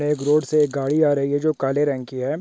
एक रोड से एक गाडी आ रही हे जो काले रंग की हे।